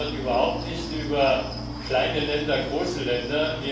Wir reden dort überhaupt nicht über kleine Länder, große Länder